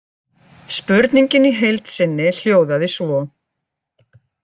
Spurningin í heild sinni hljóðaði svo: